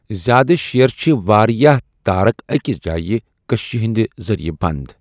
زیادٕ شییر چِھ واریاہ تارکھ أکس جایہِ کششِ ہٕنٛدِ ذریعہ بند۔